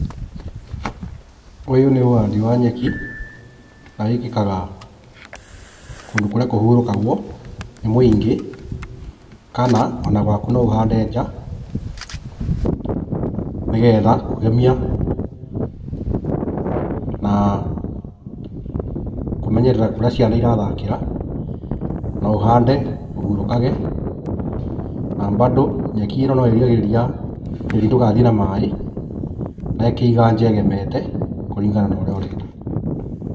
Ũyũ nĩ ũhandi wa nyeki, na wĩkĩkaga kũndũ kũrĩa kũhurũkagwo nĩ mũingĩ, kana ona gwaku no ũhande nja, nĩgetha kũgemia na kũmenyerera kũrĩa ciana irathakĩra, na ũhande ũhurũkage na bado nyeki ĩno no ĩrigagĩrĩria tĩri ndũgathiĩ na maĩ, na ĩkaiga nja ĩgemete kũrĩngana na ũrĩa ũrenda.